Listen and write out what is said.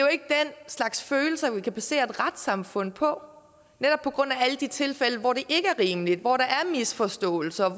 slags følelser vi kan basere et retssamfund på netop på grund af alle de tilfælde hvor det ikke er rimeligt hvor der er misforståelser